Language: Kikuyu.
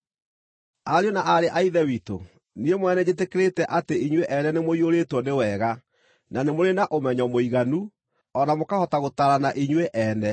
Ariũ na aarĩ a Ithe witũ, niĩ mwene nĩnjĩtĩkĩrĩte atĩ inyuĩ ene nĩmũiyũrĩtwo nĩ wega, na nĩ mũrĩ na ũmenyo mũiganu, o na mũkahota gũtaarana inyuĩ ene.